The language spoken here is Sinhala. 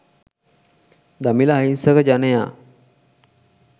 දමිල අහිංසක ජනයා